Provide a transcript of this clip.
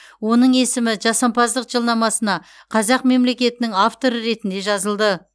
оның есімі жасампаздық жылнамасына қазақ мемлекетінің авторы ретінде жазылды